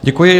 Děkuji.